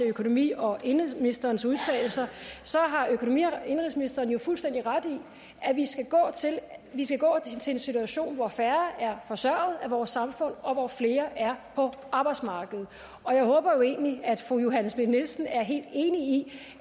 økonomi og indenrigsministerens udtalelser har økonomi og indenrigsministeren jo fuldstændig ret i at vi skal gå til en situation hvor færre er forsørget af vores samfund og hvor flere er på arbejdsmarkedet og jeg håber jo egentlig at fru johanne schmidt nielsen er helt enig i